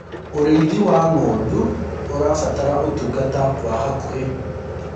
ũrĩithi wa ng'ondu ũrabatara utungata wa hakuhi